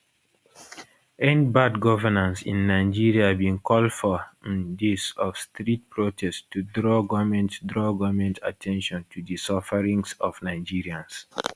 endbadgovernanceinnigeria bin call for um days of street protest to draw goment draw goment at ten tion to di sufferings of nigerians